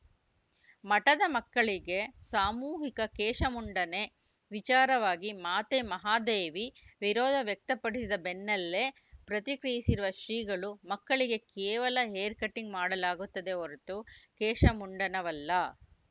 ಮಠದ ಮಕ್ಕಳಿಗೆ ಸಾಮೂಹಿಕ ಕೇಶಮುಂಡನೆ ವಿಚಾರವಾಗಿ ಮಾತೆ ಮಹಾದೇವಿ ವಿರೋಧ ವ್ಯಕ್ತಪಡಿಸಿದ ಬೆನ್ನಲ್ಲೇ ಪ್ರತಿಕ್ರಿಯಿಸಿರುವ ಶ್ರೀಗಳು ಮಕ್ಕಳಿಗೆ ಕೇವಲ ಹೇರ್‌ಕಟಿಂಗ್‌ ಮಾಡಲಾಗುತ್ತದೆ ಹೊರತು ಕೇಶಮುಂಡನವಲ್ಲ